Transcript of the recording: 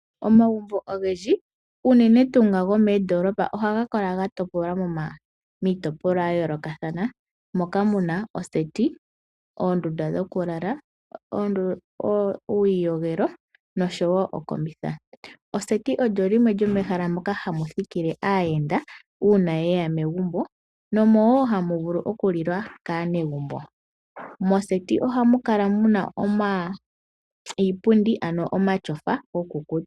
Omagumbo ogendji unene tuu nga gomoondolopa ogatopolwa miitopolwa yayoolokathana, moka muna oseti, oondunda dhokulala, uuyiyogelo nosho wo okombitha. Oseti olyo limwe lyomehala moka hamu thikile aayenda uuna yeya megumbo nomo wo hamuvulu okulilwa kaanegumbo. Moseti ohamukala iipundu ano omatyofa go kukuutumbwa.